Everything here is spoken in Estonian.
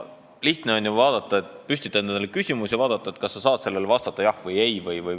Ometi on lihtne püstitada endale selline küsimus ja mõelda, kas sa saad sellele vastata jah või ei.